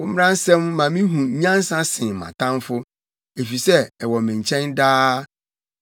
Wo mmara nsɛm ma mihu nyansa sen mʼatamfo, efisɛ ɛwɔ me nkyɛn daa.